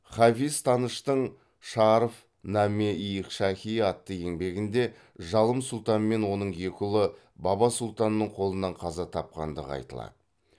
хафиз таныштың шаарф наме ий шахи атты еңбегінде жалым сұлтан мен оның екі ұлы баба сұлтанның қолынан қаза тапқандығы айтылады